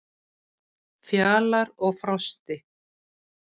Fjalar og Frosti,